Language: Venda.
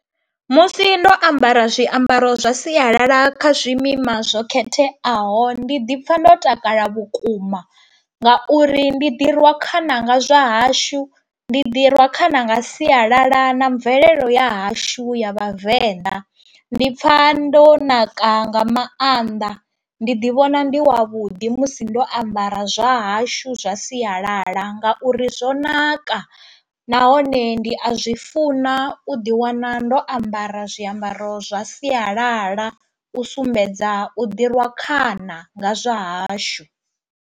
Musi ndo ambara zwiambaro zwa sialala kha zwimima zwo khetheaho ndi ḓi pfha ndo takala vhukuma ngauri ndi ḓi rwa khana nga zwa hashu, ndi ḓi rwa khana nga sialala na mvelele ya hashu ya vhavenḓa. Ndi pfha ndo naka nga maanḓa, ndi ḓi vhona ndi wavhuḓi musi ndo ambara zwa hashu zwa sialala ngauri zwo naka nahone ndi a zwi funa u ḓi wana ndo ambara zwiambaro zwa sialala u sumbedza u ḓi rwa khana nga zwa hashu.